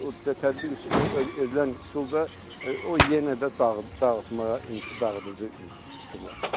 O tətbiq edilən üsul da o yenə də dağıtmağa dağıdıcı üsullardır.